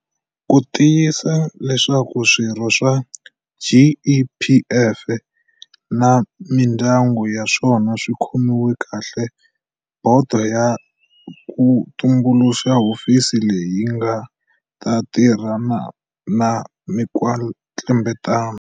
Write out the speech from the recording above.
Ku tiyisisa leswaku swirho swa GEPF na mindyangu ya swona swi khomiwa kahle, bodo ya ha ku tumbuluxa hofisi leyi nga ta tirhana na mikwetlembetano.